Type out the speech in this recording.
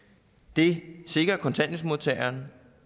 det sikrer kontanthjælpsmodtageren